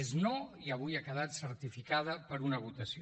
és no i avui ha quedat certificada per una votació